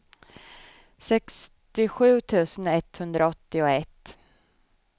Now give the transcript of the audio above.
sextiosju tusen etthundraåttioett